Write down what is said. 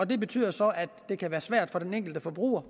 det betyder så at det kan være svært for den enkelte forbruger